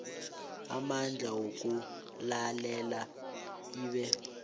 amandla wokulalela ibe